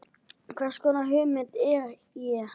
Hvers konar hugmynd er ég?